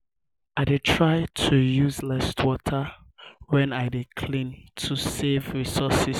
um i um dey try to use less water when i dey clean to save um resources.